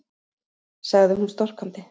sagði hún storkandi.